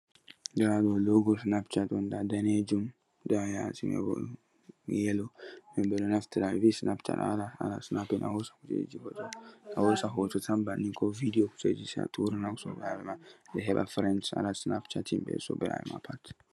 Nda do logo Snapchat on. Nda danijum, nda ha yasi maibo yellow. Himbe do naftira hedi Snapchat a wada snapping a hosa kujeji goddo, a hosa hoto tan bannin ko video kujeji sei a turina sobirabe mada be heba friends a nastina ha chatting bei sobirabe ma pat.